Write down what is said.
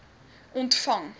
ontvang